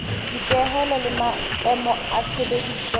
dipehelo le maemo a tshebediso